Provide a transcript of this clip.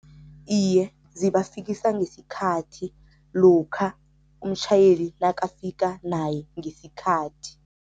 Iye, zibafikisa ngesikhathi lokha umtjhayeli nakafika naye ngesikhathi.